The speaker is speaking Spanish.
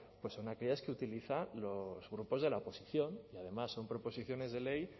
pues son aquellas que utilizan los grupos de la oposición y además son proposiciones de ley